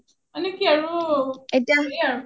মানে কি আৰু হেৰী আৰু